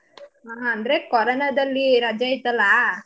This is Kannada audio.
ಹಾ ಅಂದ್ರೆ corona ದಲ್ಲಿ ರಜಾ ಇತ್ತಲಾ.